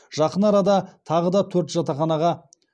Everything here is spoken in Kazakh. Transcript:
жақын арада тағы да төрт жатақханаға